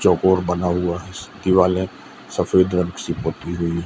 चोकोर बना हुआ स दिवाल है सफेद रंग से पोती हुई--